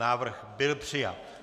Návrh byl přijat.